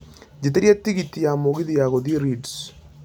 jĩtĩria tigiti ya mũgithi wa gũthiĩ Leeds